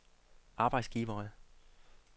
arbejdsgivere